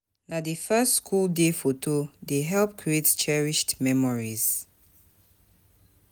Na di first schoo day foto dey help create cherished memories.